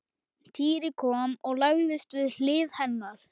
Týri kom og lagðist við hlið hennar.